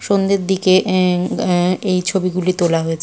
সন্ধ্যের দিকে এ এ এই ছবিগুলি তোলা হয়েছে।